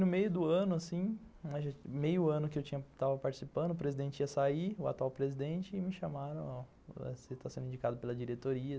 No meio do ano que eu estava participando, o atual presidente ia sair, e me chamaram para participar, dizendo que eu estava sendo indicado pela diretoria.